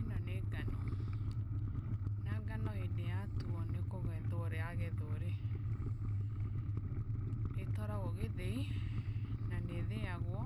Ĩno nĩ ngano, na ngano hĩndĩ yatuo ni kugethwo ĩragethwo rĩ ĩtwaragwo gĩthĩi na nĩ ĩthĩagwo.